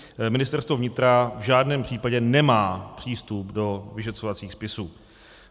Ministerstvo vnitra v žádném případě nemá přístup do vyšetřovacích spisů.